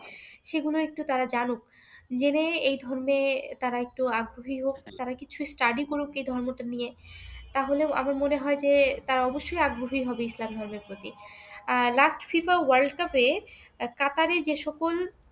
জেনে এই ধর্মে তারা একটু আগ্রহী হোক, তারা কিছু study করুক এই ধর্মটা নিয়ে, তাহলেও আমার মনে হয় যে তারা অবশ্যই আগ্রহী হবে ইসলাম ধর্মের প্রতি। আর last FIFA world cup এ কাতারের যে সকল